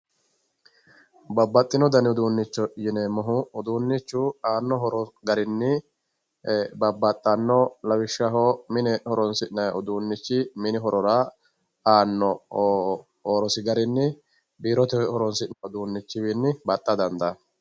Babbaxxino dani uduunnicho yineemmohu uduunnichu aanno horo garinni babbaxxanno lawishshaho mine horonsi'nayi uduunnichi minira calla ikke biirote uduunnichinni baxxara dandaanno.